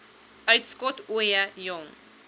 uitskot ooie jong